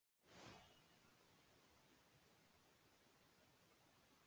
Fyrsta markið kom strax á fyrstu mínútu leiksins.